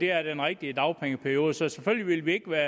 er den rigtige dagpengeperiode så selvfølgelig vil vi ikke være